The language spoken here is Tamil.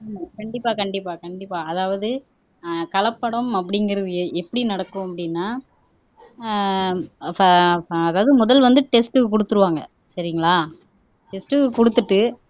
ஹம் கண்டிப்பா கண்டிப்பா கண்டிப்பா அதாவது ஆஹ் கலப்படம் அப்படிங்கிறது எப்படி நடக்கும் அப்படின்னா ஆஹ் ப ப அதாவது முதல் வந்து டெஸ்ட்க்கு குடுத்துருவாங்க. சரிங்களா டெஸ்ட்க்கு குடுத்துட்டு